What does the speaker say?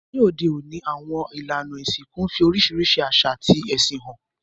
Ní òde ọ̀ní, àwon ìlànà ìsìnkú n fi orísìrísi àsà àti ẹ̀sìn han